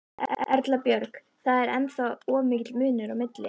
Erla Björg: Það er ennþá of mikill munur á milli?